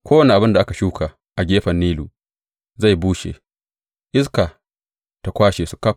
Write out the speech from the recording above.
Kowane abin da aka shuka a gefen Nilu zai bushe, iska ta kwashe su ƙaf.